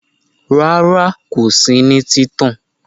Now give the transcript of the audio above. Rara ko si ni títàn